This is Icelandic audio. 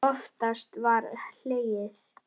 Þú ert að upplifa snilld.